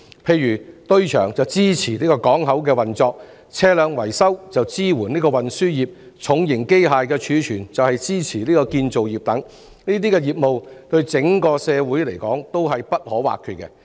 例如堆場支持港口運作、車輛維修則支援運輸業、重型機械的儲存則支援建造業等，這些業務對整個社會而言都是不可或缺的。